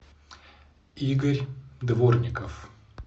игорь дворников